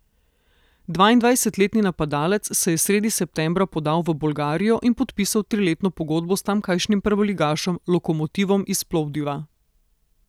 Dvaindvajsetletni napadalec se je sredi septembra podal v Bolgarijo in podpisal triletno pogodbo s tamkajšnjim prvoligašem Lokomotivom iz Plovdiva.